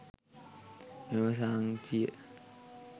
මෙම සාංචිය